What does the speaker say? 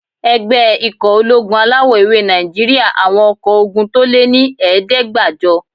Ẹgbẹ́ ikọ̀ ológun alawọ̀-ewé Nàìjíríyà àwọn ọkọ́ ogun tó lé ní ẹ̀ẹ́dẹ́gbàjọ